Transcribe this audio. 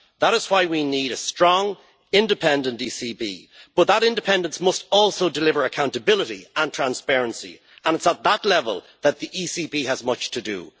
That is why we need a strong independent ECB, but that independence must also deliver accountability and transparency, and it is at that level that the ECB has much to do.